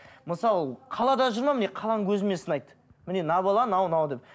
мысалы қалада жүр ме міне қаланың көзімен сынайды міне мына бала мынау мынау деп